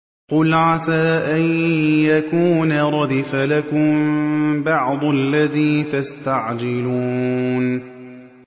قُلْ عَسَىٰ أَن يَكُونَ رَدِفَ لَكُم بَعْضُ الَّذِي تَسْتَعْجِلُونَ